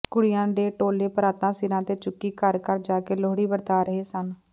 ਕੁੜੀਆਂ ਦੇ ਟੋਲੇ ਪਰਾਤਾਂ ਸਿਰਾਂ ਤੇ ਚੁੱਕੀ ਘਰ ਘਰ ਜਾ ਕੇ ਲੋਹੜੀ ਵਰਤਾ ਰਹੇ ਸਨ